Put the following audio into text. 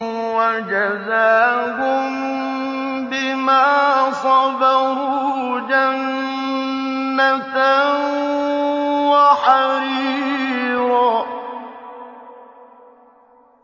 وَجَزَاهُم بِمَا صَبَرُوا جَنَّةً وَحَرِيرًا